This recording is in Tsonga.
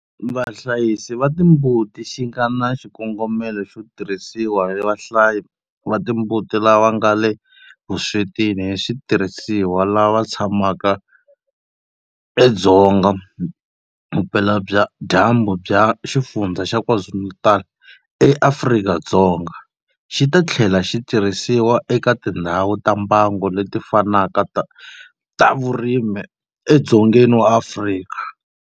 Vahlayisi va timbuti xi nga na xikongomelo xo tirhisiwa hi vahlayi va timbuti lava nga le vuswetini hi switirhisiwa lava tshamaka edzonga vupeladyambu bya Xifundzha xa KwaZulu-Natal eAfrika-Dzonga, xi ta tlhela xi tirhisiwa eka tindhawu ta mbango leti fanaka ta vurimi edzongeni wa Afrika.